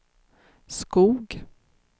Skoog